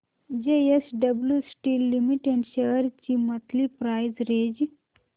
JSW steel limited shares ची monthly price range